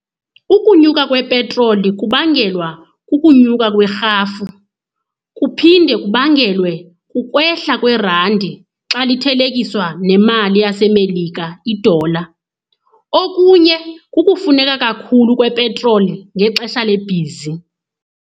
Ukunyuka kwepetroli kubangelwa kukunyuka kwerhafu. Kuphinde kubangelwe kukwehla kwerandi xa lithelekiswa nemali yaseMelika, idola. Okunye kukufuneka kakhulu kwepetroli ngexesha lebhizi.